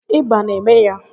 Ịba na eme ya